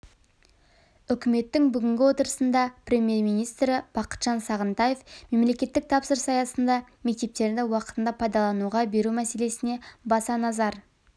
үкіметтің бүгінгі отырысында премьер-министрі бақытжан сағынтаев мемлекеттік тапсырыс аясында мектептерді уақытында пайдалануға беру мәселесіне баса назар